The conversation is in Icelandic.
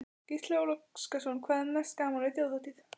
Gísli Óskarsson: Hvað er mest gaman við Þjóðhátíð?